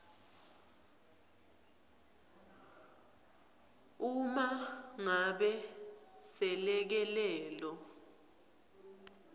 uma ngabe selekelelo